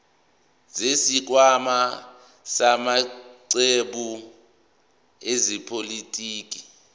zesikhwama samaqembu ezepolitiki